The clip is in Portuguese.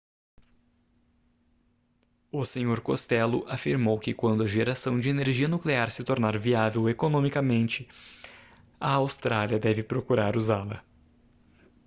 o senhor costello afirmou que quando a geração de energia nuclear se tornar viável economicamente a austrália deve procurar usá-la